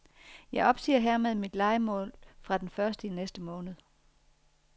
Jeg opsiger hermed mit lejemål fra den første i næste måned.